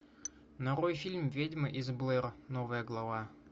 нарой фильм ведьма из блэр новая глава